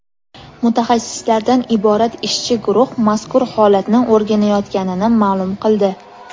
mutaxassislardan iborat ishchi guruh mazkur holatni o‘rganayotganini ma’lum qildi.